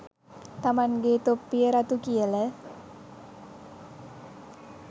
තමන්ගෙ තොප්පිය රතු කියල